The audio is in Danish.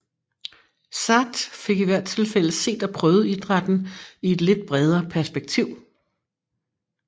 SAaT fik i hvert tilfælde set og prøvet idrætten i et lidt bredere perspektiv